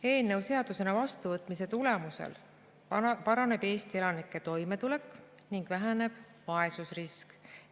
Eelnõu seadusena vastuvõtmise tulemusel paraneb Eesti elanike toimetulek ning väheneb vaesusrisk.